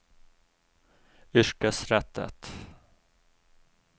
yrkesrettet